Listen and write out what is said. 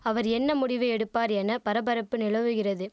அவர் என்ன முடிவு எடுப்பார் என பரபரப்பு நிலவுகிறது